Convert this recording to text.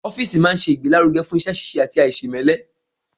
Ọ́fìsì máa n ṣe ìgbélárugẹ́ fún iṣẹ́-síse àti àìsèmẹ́lẹ́